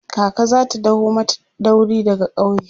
kaka zata daho mata dauri daga ƙauye